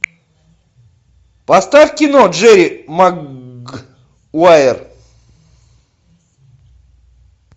поставь кино джерри магуайер